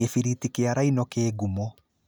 Gĩbiriti kĩa rhino kĩ ngumo.